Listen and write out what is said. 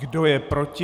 Kdo je proti?